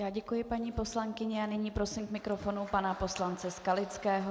Já děkuji paní poslankyni a nyní prosím k mikrofonu pana poslance Skalického.